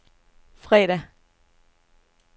fredag